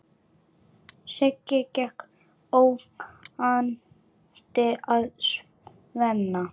Siggi gekk ógnandi að Svenna.